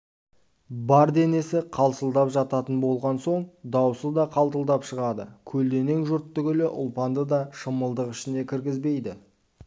бар денесі қалшылдап жататын болған соң даусы да қалтылдап шығады көлденең жұрт түгіл ұлпанды да шымылдық ішіне кіргізбейді